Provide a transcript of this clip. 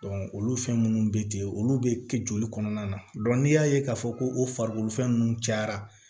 olu fɛn minnu bɛ ten olu bɛ kɛ joli kɔnɔna na n'i y'a ye k'a fɔ ko o farikolofɛn ninnu cayara